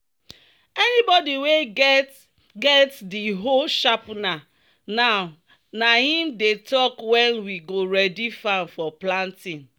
"anybody wey get get di hoe sharpener now na him dey talk when we go ready farm for planting."